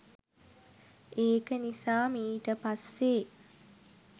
ඒක නිසා මීට පස්සේ